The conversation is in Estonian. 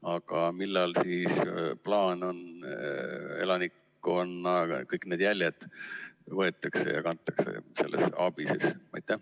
Aga millal on siis plaan, et elanikkonnalt kõik need jäljed võetakse ja kantakse sellesse ABIS-esse?